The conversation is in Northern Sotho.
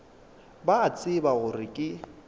ba a tseba gore ke